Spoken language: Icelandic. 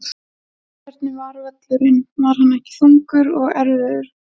Hvernig var völlurinn var hann ekki þungur og erfiður?